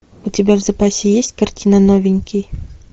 у тебя в запасе есть картина новенький